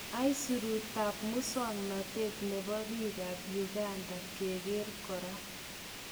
Isurut tab musoknotet nebo bik kap Uganda keker kora.